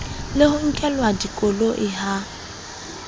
le ho nkelwa dikoloi ha